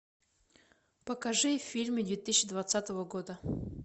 покажи фильмы две тысячи двадцатого года